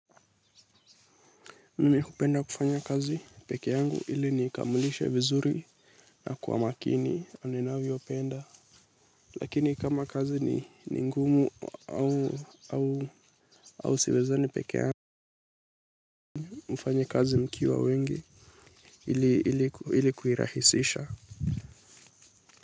Mimihupenda kufanya kazi pekee yangu ili nikamilisha vizuri na kwa makini ninavyopenda. Lakini kama kazi ni ngumu au au au siwezani pekee yangu. Mfanye kazi mkiwa wengi iliku iliku irahisisha.